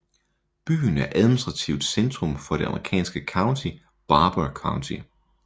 Byen er administrativt centrum for det amerikanske county Barbour County